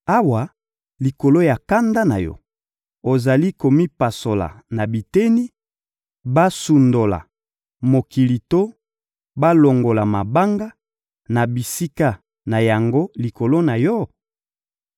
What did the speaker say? Awa, likolo ya kanda na yo, ozali komipasola na biteni, basundola mokili to balongola mabanga na bisika na yango likolo na yo?